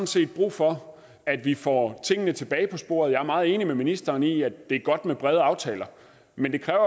set brug for at vi får tingene tilbage på sporet jeg er meget enig med ministeren i at det er godt med brede aftaler men det kræver